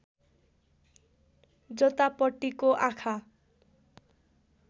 जतापट्टिको आँखा